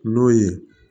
N'o ye